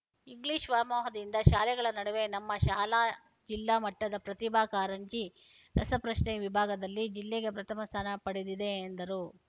English ವ್ಯಾಮೋಹದಿಂದ ಶಾಲೆಗಳ ನಡುವೆ ನಮ್ಮ ಶಾಲಾ ಜಿಲ್ಲಾ ಮಟ್ಟದ ಪ್ರತಿಭಾ ಕಾರಂಜಿ ರಸಪ್ರಶ್ನೆ ವಿಭಾಗದಲ್ಲಿ ಜಿಲ್ಲೆಗೆ ಪ್ರಥಮ ಸ್ಥಾನ ಪಡೆದಿದೆ ಎಂದರು